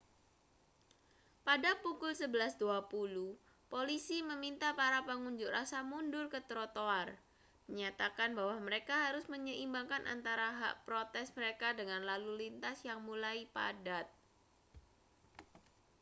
pada pukul 11.20 polisi meminta para pengunjuk rasa mundur ke trotoar menyatakan bahwa mereka harus menyeimbangkan antara hak protes mereka dengan lalu lintas yang mulai padat